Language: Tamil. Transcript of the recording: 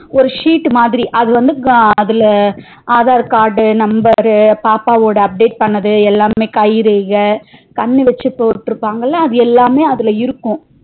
ஒரு sheet மாதிரி அது வந்து அதுல aadhar card number பாப்பாவோட update பண்ணது எல்லாமே கைரேகை கண்ணு வச்சி போடுருபாங்கள அது எல்லாமே அதுல இருக்கும்